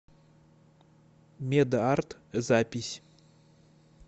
мед арт запись